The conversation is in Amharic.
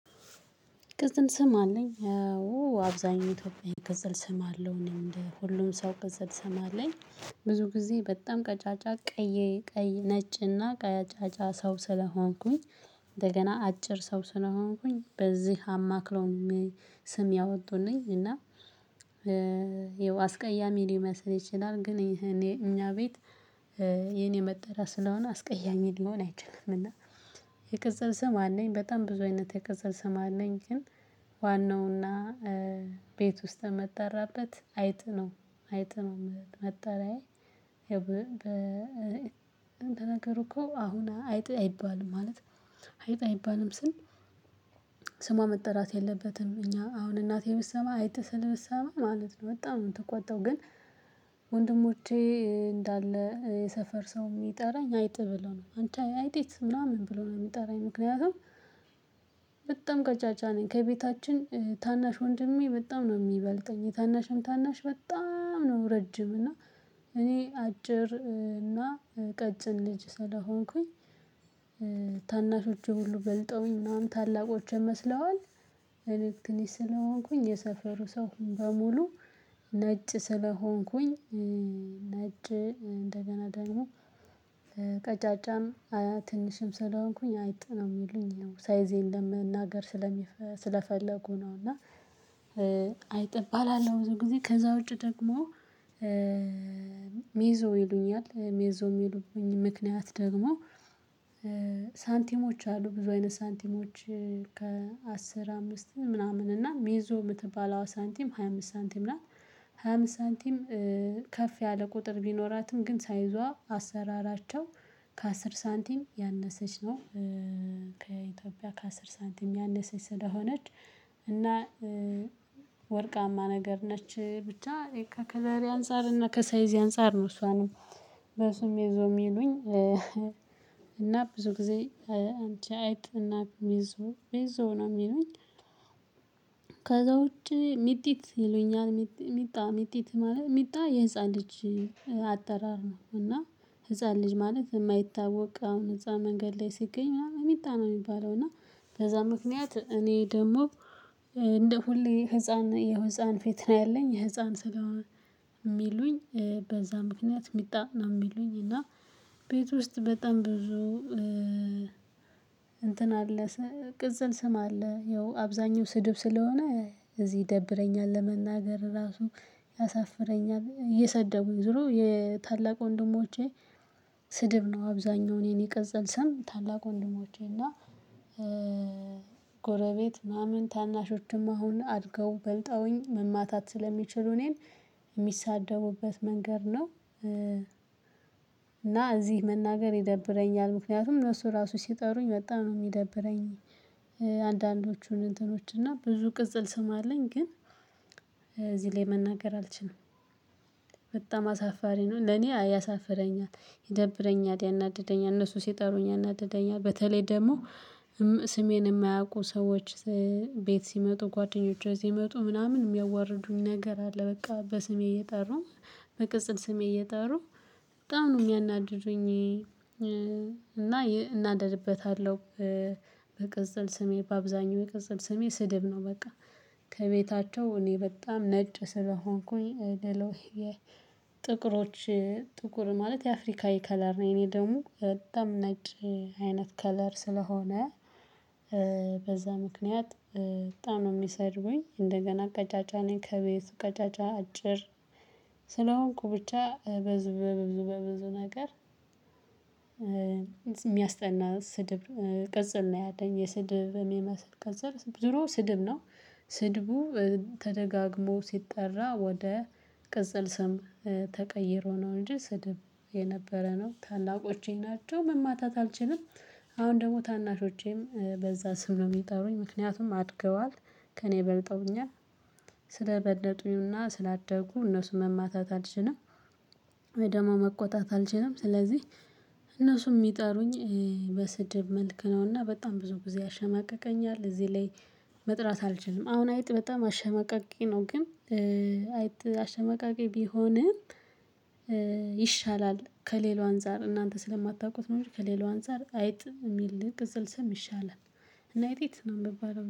ቅጽል ስም አለኝ አዎ አብዛኛው ኢትዮጵያዊ ቅጽል ስም አለው እኔም እንደ ሁሉም ሰው ቅጽል ስም አለኝ። ብዙ ጊዜ በጣም ቀጫጫ ቀይ ቀይ ነጭና ቀጫጫ ሰው ስለሆንኩኝ። እንደገና አጭር ሰው ስለሆንኩኝ በዚህ አማክለው ስም ያወጡልኝ እና ይኸው አስቀያሚ ሊመስል ይችላል። ግን ይሄ እኛ ቤት የኔ መጠሪያ ስለሆነ አስቀያሚ ሊሆን አይችልም። እና የቅጽል ስም አለኝ በጣም ብዙ አይነት የቅጽል ስም አለኝ። ግን ዋናውና ቤት ውስጥ መጠራበት አይጥ ነው አይጥነው መጠሪያዬ። እንትን ነገሩ እኮ አሁን አይጥ አይባልም ማለት አይጥ አይባልም ስል ስሟ መጠራት የለበትም። እኛ አሁን እናቴ ብትሰማ አይጥ ስል ብትሰማ ማለት ነው በጣም የምትቆጠው ግን። ወንድሞቼ እንዳለ የሰፈር ሰው እሚጠራኝ አይጥ ብሎ ነው አንቺ አይጢት ምናምን ብሎ ነው የሚጠራኝ ምክንያቱም በጣም ቀጫጫ ነኝ። ከቤታችን ታናሽ ወንድሜ በጣም ነው የሚበልጠኝ የታናሼም ታናሽ በጣም ነው ረጅም እና እኔ አጭር እና ቀጭን ልጅ ስለሆንኩኝ። ታናሾቼ ሁሉ በልጠውኝ ምናምን ታላቆቼን መስለዋል እኔ ትንሽ ስለሆንኩኝ የሰፈሩ ሰው በሙሉ ነጭ ስለሆንኩኝ። ነጭ እንደገና ደግሞ ቀጫጫም አያ ትንሽም ስለሆንኩኝ አይጥ ነው የሚሉኝ ሳይዜን ለመናገር ስለፈለጉ ነው። እና አይጥ እባላለሁ። ብዙ ጊዜ ከዛ ውጪ ደግሞ ሜዞ ይሉኛል ሜዞ እሚሉቡኝ ምክንያት ደግሞ ሳንቲሞች አሉ ብዙ አይነት ሳንቲሞች። ከአስር አምስት ምናምን እና ሜዞ የምትባለው ሳንቲም ሃያ አምስት ሳንቲም ናት። ሃያ አምስት ሳንቲም ከፍ ያለ ቁጥር ቢኖራትም ግን ሳይዟ አሰራራቸው ከአስር ሳንቲም ያነሰች ነው። ከኢትዮጵያ ከአስር ሳንቲም ያነሰች ስለሆነች። እና ወርቃማ ነገር ነች ብቻ ከከለሬ አንፃር እና ከሳይዜ አንፃር ነው እሷንም በሱ ሚይዞ የሚሉኝ። እና ብዙ ጊዜ አንቺ አይጥ እና ሜዞ ሜዞ ነው የሚሉኝ። ከዛ ውጪ ሚጢት ይሉኛል ሚጣ ሚጢት ማለት ሚጣ የህፃን ልጅ አጠራር ነው። እና ህፃን ልጅ ማለት እማይታወቅ አሁን እዛ መንገድ ላይ ሲገኝ ምናምን ሚጣ ነው እሚባለው። እና በዛ ምክንያት እኔ ደግሞ እንደ ሁሌ ህፃን የህፃን ፊት ነው ያለኝ የህፃን ስጋው። እሚሉኝ በዛ ምክንያት የሚጣ ነው የሚሉኝ። እና ቤት ውስጥ በጣም ብዙ እንትን አለ። ቅጽል ስም አለ ያው አብዛኛው ስድብ ስለሆነ እዚህ ይደብረኛል ለመናገር ራሱ ያሳፍረኛል። እየሰደቡኝ ዞሮ የታላቅ ወንድሞቼ ስድብ ነው አብዛኛውን የኔ ቅጽል ስም ታላቅ ወንድሞቼና። ጎረቤት ምናምን ታናሾችም አሁን አድገው በልጠውኝ መማታት ስለሚችሉ እኔን እሚሳደቡበት መንገድ ነው። እና እዚህ መናገር ይደብረኛል ምክንያቱም እነሱ ራሱ ሲጠሩኝ በጣም ነው እሚደብረኝ። አንዳንዶቹን እንትኖች እና ብዙ ቅጽል ስም አለኝ ግን እዚህ ላይ መናገር አልችልም። በጣም አሳፋሪ ነው ለኔ ያሳፍረኛል ይደብረኛል ያናድደኛል እነሱ ሲጠሩኝ ያናድደኛል። በተለይ ደግሞ ስሜን እማያውቁ ሰዎች ቤት ሲመጡ ጓደኞቼ ሲመጡ ምናምን እሚያዋርዱኝ ነገር አለ። በቃ በስሜ እየጠሩ በቅጽል ስሜ እየጠሩ በጣም ነው የሚያናድዱኝ። እና እናደድበታለሁ። በቅጽል ስሜ በአብዛኛው የቅጽል ስሜ ስድብ ነው በቃ ከቤታቸው እኔ በጣም ነጭ ስለሆንኩኝ ደሎሄዬ። ጥቁሮች ጥቁር ማለት የአፍሪካዊ ከለር ነው የኔ ደግሞ በጣም ነጭ አይነት ከለር ስለሆነ። በዛ ምክንያት በጣም ነው እሚሰድቡኝ እንደገና ቀጫጫ ነኝ ከቤቱ ቀጫጫ አጭር ስለሆንኩ ብቻ ብዙ በብዙ በብዙ ነገር። እሚያስጠና ስድብ ቅጽል ነው ያለኝ የስድብ እሚመስል ቅጽል ዙሮ ስድብ ነው። ስድቡ ተደጋግሞ ሲጠራ ወደ ቅጽል ስም ተቀይሮ ነው። እንጂ ስድብ የነበረ ነው ታላቆቼ ናቸው መማታት አልችልም። አሁን ደግሞ ታናሾቼም በዛ ስም ነው እሚጠሩኝ ምክንያቱም አድገዋል ከእኔ በልጠውኛል። ስለበለጡኝ እና ስላደጉ እነሱን መማታት አልችንም። መቆጣት አልችልም ስለዚህ እነሱም እሚጠሩኝ በስድብ መልክ ነውና በጣም ብዙ ጊዜ ያሸማቅቀኛል። እዚህ ላይ መጥራት አልችልም። አሁን አይጥ በጣም አሸማቃቂ ነው ግን አይጥ አሸማቃቂ ቢሆንም። ይሻላል ከሌላው አንፃር እናንተ ስለማታውቁት ነው እንጂ ከሌላው አንፃር አይጥ እሚል ቅጽል ስም ይሻላል። እና አይጢት ነው እምባለው